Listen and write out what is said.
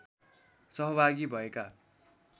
सहभागी भएका